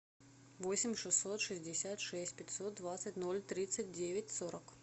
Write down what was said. восемь шестьсот шестьдесят шесть пятьсот двадцать ноль тридцать девять сорок